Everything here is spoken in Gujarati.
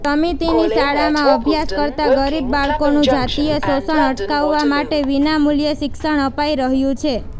સમિતિની શાળામાં અભ્યાસ કરતા ગરીબ બાળકોનું જાતીય શોષણ અટકાવવા માટે વિનામૂલ્યે શિક્ષણ અપાઇ રહ્યું છે